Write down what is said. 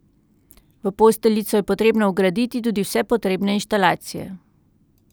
V posteljico je potrebno vgraditi tudi vse potrebne inštalacije.